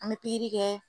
An bɛ pikiri kɛ